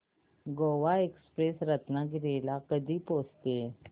Goa express Ratnagiri ला कधी पोहचते